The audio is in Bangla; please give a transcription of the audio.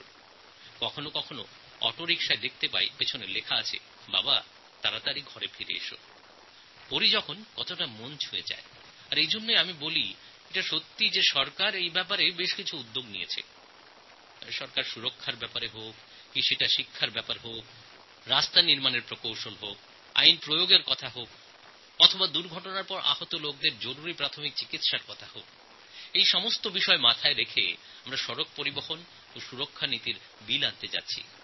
কখনও কখনও আমি দেখি অটো রিক্সার পেছনে লেখা আছে পাপা জলদি ঘর আ যানা বাবা তাড়াতাড়ি ঘরে ফিরে এস এই লেখা কতটা মর্মস্পর্শী আর এজন্যই আমি বলছি যে সরকার তো এব্যাপারে বেশ কিছু নতুন উদ্যোগ নিয়েছে পথ নিরাপত্তার ব্যাপারে শিক্ষাদান হোক বা রাস্তা তৈরির কারিগরী প্রশাসনিক ব্যবস্থা লাগু করার কথাই হোক অথবা দুর্ঘটনার পর আহত ব্যক্তিদের আপৎকালীন চিকিৎসা ব্যবস্থার কথা হোক এই সব কথা মাথায় রেখেই বলব road transport and safety bill আমরা আনছি